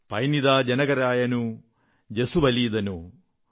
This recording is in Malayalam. പൈന്നിദാ ജനകരായനു ജസുവലീദനൂ